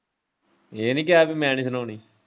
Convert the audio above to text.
ਇਹ ਨੀ ਕਿਹਾ ਪੀ ਮੈਂ ਨੀ ਸੁਣਾਨੀ?